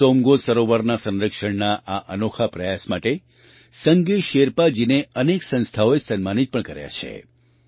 સોમગો સરોવરના સંરક્ષણના આ અનોખા પ્રયાસ માટે સંગે શેરપાજીને અનેક સંસ્થાઓએ સન્માનિત પણ કર્યા છે